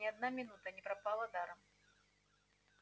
ни одна минута не пропала даром